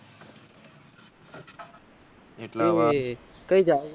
કઈ જાહો.